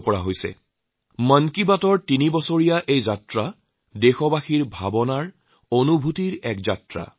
তেনেকৈয়ে মন কী বাতৰ তিনি বছৰীয়া এই যাত্ৰা দেশবাসীয়ে তেওঁলোকৰ চিন্তাভাৱনাৰ তেওঁলোকৰ অনুভূতিৰ এক যাত্ৰা